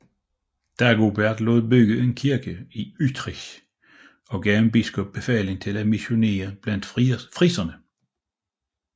Dagobert lod bygge en kirke i Utrecht og gav en biskop befaling til at missionere blandt friserne